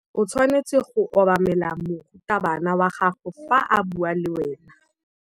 O tshwanetse go obamela morutabana wa gago fa a bua le wena.